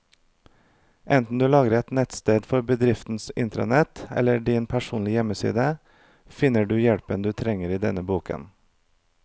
Enten du lager et nettsted for bedriftens intranett eller din personlige hjemmeside, finner du hjelpen du trenger i denne boken.